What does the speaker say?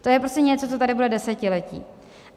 To je prostě něco, co tady bude desetiletí.